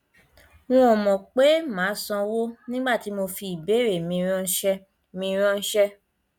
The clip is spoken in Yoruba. n ò mọ pé màá sanwó nígbà tí mo fi ìbéèrè mi ráńṣẹ mi ráńṣẹ